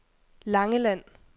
Langeland